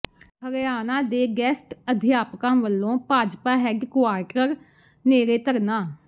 ਹਰਿਆਣਾ ਦੇ ਗੈਸਟ ਅਧਿਆਪਕਾਂ ਵੱਲੋਂ ਭਾਜਪਾ ਹੈੱਡਕੁਆਰਟਰ ਨੇੜੇ ਧਰਨਾ